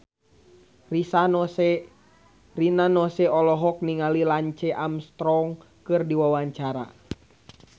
Rina Nose olohok ningali Lance Armstrong keur diwawancara